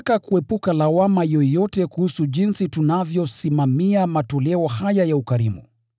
Tunataka kuepuka lawama yoyote kuhusu jinsi tunavyosimamia matoleo haya ya ukarimu.